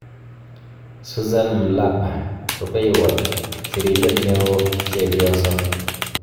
Suzan Mlapa. Rupeiywot sirindet neooChepyoso